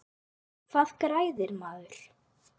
Hvað græðir maður?